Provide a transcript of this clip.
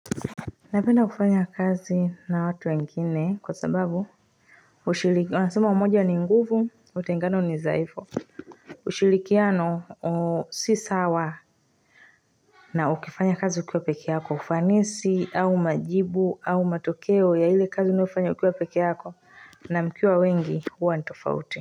Napenda kufanya kazi na watu wengine kwasababu Unasema umoja ni nguvu, utengano ni dhaifu. Ushirikiano si sawa na ukifanya kazi ukiwa peke yako. Ufanisi, au majibu, au matokeo ya ile kazi unofanya ukiwa peke yako na mkiwa wengi huwa ni tofauti.